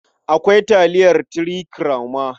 Akwai taliyar Three Crown ma.